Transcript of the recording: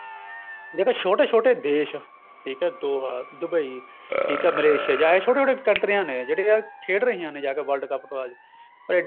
ਜੇ ਤਾਂ ਛੋਟੇ ਛੋਟੇ ਦੇਸ਼ ਠੀਕ ਏ ਦੋਹਾ Dubai ਠੀਕ ਏ ਮਲੇਸ਼ਿਆ ਜਾਂ ਇਹ ਛੋਟੇ ਛੋਟੇ ਕੰਟਰੀਆਂ ਨੇ ਜਿਹੜੀ ਵੀ ਆ ਖੇਡ ਰਹੀਆਂ ਨੇ ਜਾ ਕੇ world cup ਕੋਈ ਐਡੀ